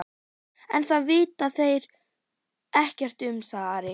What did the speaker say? En það vita þeir ekkert um, sagði Ari.